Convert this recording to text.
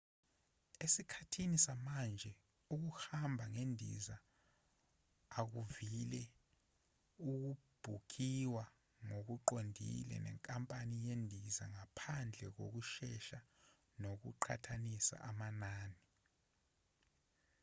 esikhathini samanje ukuhamba ngendiza akuvile ukubhukhiwa ngokuqondile nenkampani yezindiza ngaphandle kokusesha nokuqhathanisa amanani